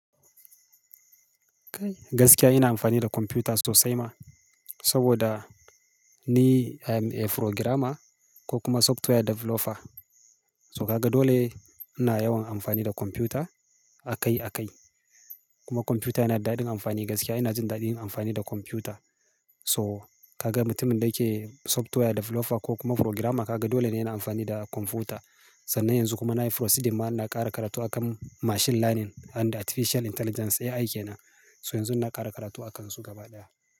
Kai gaskiya ina amfani da kwamfuta sosai ma. Saboda ni I'm a programmer ko kuma software developer. So kaga dole ina yawan amfani da kwamfuta a kai a kai. Kuma kwamfuta yana da daɗin amfani gaskiya ina jin daɗin amfani da kwamfuta. To kaga mutumin da yake software developer ko kuma programmer kaga dole ne yana amfani da kwamfuta. Sannan yanzu kuma nayi proceeding ma ina kara karatu a kan machine learning and artificial intelligence AI kenan. So yanzu ina kara karatu a kansu gaba ɗaya.